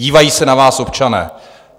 Dívají se na vás občané.